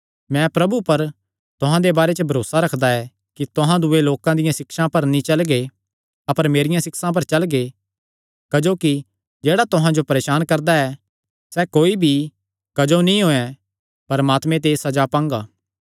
मैं प्रभु पर तुहां दे बारे च भरोसा रखदा ऐ कि तुहां दूये लोकां दियां सिक्षां पर नीं चलगे अपर मेरियां सिक्षां पर चलगे क्जोकि जेह्ड़ा तुहां जो परेसान करदा ऐ सैह़ कोई भी क्जो नीं होयैं परमात्मे ते सज़ा पांगा